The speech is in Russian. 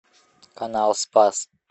канал спас